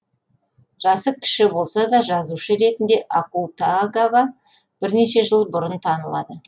жасы кіші болса да жазушы ретінде акутагава бірнеше жыл бұрын танылады